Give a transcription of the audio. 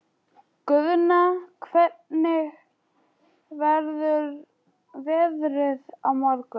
Guðna, hvernig verður veðrið á morgun?